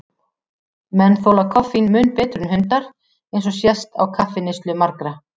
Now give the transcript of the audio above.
Menn þola koffín mun betur en hundar, eins og sést á kaffineyslu margra.